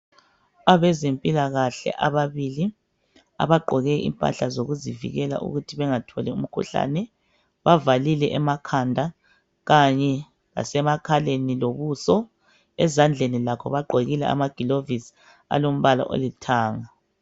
Abazempilakahle ababili abagqoke impahla zokuzivikela ukuthi bangatholi umkhuhlane. Bavalile emakhanda kanye lasemakhaleni lobuso. Ezandleni lakho bagqokile amagilovisi alombala olithanga.